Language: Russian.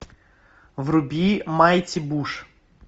вруби майти буш